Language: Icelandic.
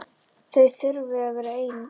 Þau þurfi að vera ein.